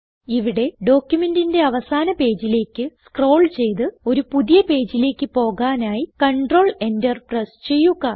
ഇവിടെ ഡോക്യുമെന്റിന്റെ അവസാന പേജിലേക്ക് സ്ക്രോൾ ചെയ്ത് ഒരു പുതിയ പേജിലേക്ക് പോകാനായി കണ്ട്രോൾ Enter പ്രേസ്സ് ചെയ്യുക